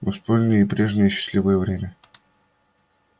мы вспомнили и прежнее счастливое время